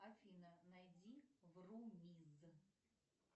афина найди врумиз